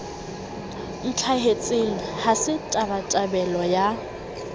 ntlhahetseng ha se tabatabelo ya